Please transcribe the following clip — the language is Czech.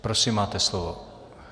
Prosím, máte slovo.